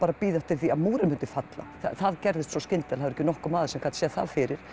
að bíða eftir því að múrinn félli það gerðist svo skyndilega ekki nokkur maður sem gat séð það fyrir